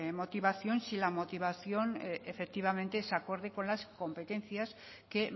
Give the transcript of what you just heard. motivación y si la motivación efectivamente es acorde con las competencias que